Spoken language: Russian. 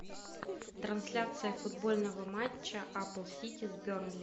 трансляция футбольного матча апл сити с бернли